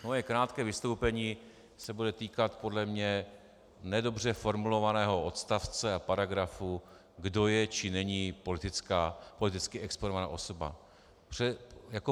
Moje krátké vystoupení se bude týkat podle mě nedobře formulovaného odstavce a paragrafu, kdo je či není politicky exponovaná osoba.